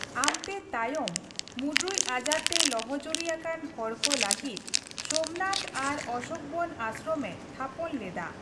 ᱟᱢᱛᱮ ᱛᱟᱭᱚᱢ ᱢᱩᱸᱰᱨᱩᱡ ᱟᱡᱟᱨᱛᱮ ᱞᱚᱦᱚᱡᱩᱨᱤ ᱟᱠᱟᱱ ᱦᱚᱲᱠᱚ ᱞᱟᱹᱜᱤᱫ ᱥᱳᱢᱱᱟᱛᱷ ᱟᱨ ᱚᱥᱳᱠᱵᱚᱱ ᱟᱥᱨᱚᱢᱮ ᱛᱷᱟᱯᱚᱱ ᱞᱮᱫᱟ ᱾